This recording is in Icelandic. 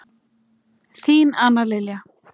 Þín Anna Lilja.